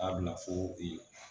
K'a bila fo